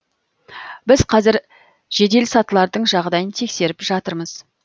біз қазір жеделсатылардың жағдайын тексеріп жатырмыз